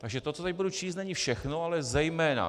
Takže to, co teď budu číst, není všechno, ale zejména.